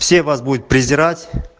все вас будут презирать